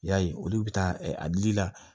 I y'a ye olu bɛ taa a dili la